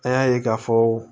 An y'a ye k'a fɔ